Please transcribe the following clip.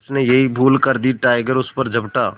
उसने यही भूल कर दी टाइगर उस पर झपटा